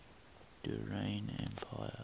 durrani empire